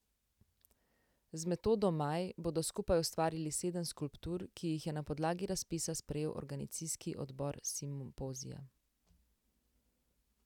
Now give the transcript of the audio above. Z Metodo Maj bodo skupaj ustvarili sedem skulptur, ki jih je na podlagi razpisa sprejel organizacijski odbor simpozija.